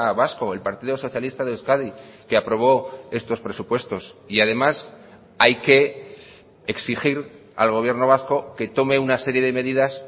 vasco el partido socialista de euskadi que aprobó estos presupuestos y además hay que exigir al gobierno vasco que tome una serie de medidas